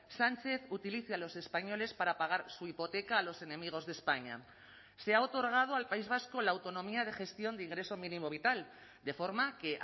sánchez utilice a los españoles para pagar su hipoteca a los enemigos de españa se ha otorgado al país vasco la autonomía de gestión de ingreso mínimo vital de forma que